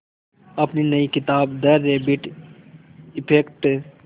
अपनी नई किताब द रैबिट इफ़ेक्ट